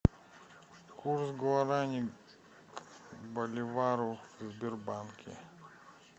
курс гуарани к боливару в сбербанке